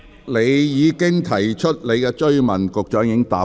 你已提出了補充質詢，局長亦已作答。